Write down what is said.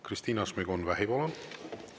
Kristina Šmigun-Vähi, palun!